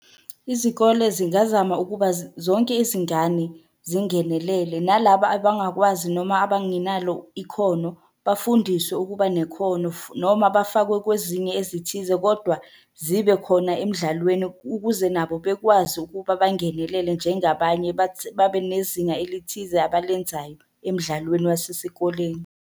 Izikole zingazama ukuba zonke izingane zingenelele, nalaba abangakwazi noma abangenalo ikhono, bafundiswe ukuba nekhono noma bafakwe kwezinye ezithize kodwa zibe khona emdlalweni ukuze nabo bekwazi ukuba bangenelele njengabanye babe nezinga elithize abalenzayo emdlalweni wasesikoleni.